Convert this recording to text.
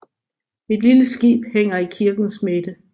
Et lille skib hænger i kirkens midte